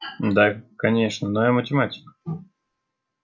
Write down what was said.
да конечно но я математик